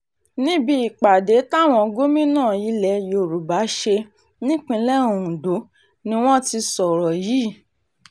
níbi ìpàdé táwọn gómìnà ilẹ̀ yorùbá ṣe nípìnlẹ̀ ondo ni wọ́n ti sọ̀rọ̀ yìí